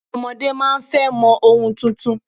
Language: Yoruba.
Ọmọdé máa ń fẹ́ mọ ohun tuntun